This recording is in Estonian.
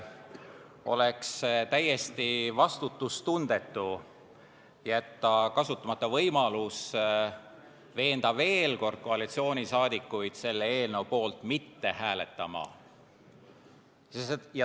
Oleks täiesti vastutustundetu jätta kasutamata võimalust veenda veel kord koalitsiooni liikmeid selle eelnõu poolt mitte hääletama.